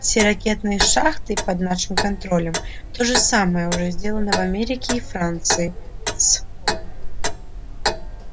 все ракетные шахты под нашим контролем то же самое уже сделано в америке и франции с